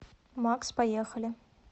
макс поехали